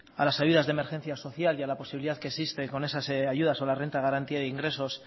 a las ayudas de emergencia social y a la posibilidad que existe con esas ayudas o la renta de garantía de ingresos